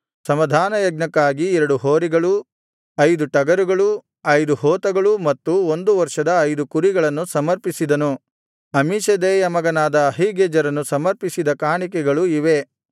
ಸಮಾಧಾನಯಜ್ಞಕ್ಕಾಗಿ ಎರಡು ಹೋರಿಗಳು ಐದು ಟಗರುಗಳು ಐದು ಹೋತಗಳು ಮತ್ತು ಒಂದು ವರ್ಷದ ಐದು ಕುರಿಗಳನ್ನು ಸಮರ್ಪಿಸಿದನು ಅಮ್ಮೀಷದ್ದೈಯ ಮಗನಾದ ಅಹೀಗೆಜೆರನು ಸಮರ್ಪಿಸಿದ ಕಾಣಿಕೆಗಳು ಇವೇ